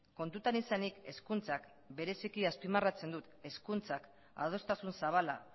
kontutan izanik hezkuntzak bereziki azpimarratzen dut hezkuntzak adostasun zabala